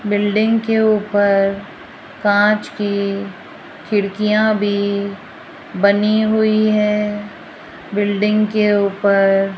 building के ऊपर कांच की खिड़कियां भी बनी हुई है बिल्डिंग के ऊपर --